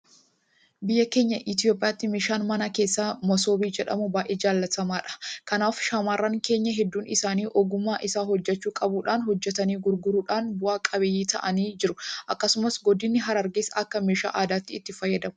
Biyya keenya Itoophiyaatti meeshaan mana keessaa masoobii jedhamu baay'ee jaalatamaadha. Kanaaf shaamarran keenya hedduun isaanii ogummaa isa hojjechuu qabaachuudhaan hojjetanii gurgurachuudhaan bu'a qabeeyyii ta'anii jiru. Akkasumas godinni harargees akka meeshaa aadaatti itti fayyadamu.